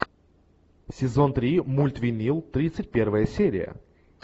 сезон три мульт винил тридцать первая серия